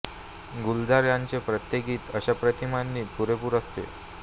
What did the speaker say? गुलज़ार यांचे प्रत्येक गीत अशा प्रतिमांनी पुरेपूर असते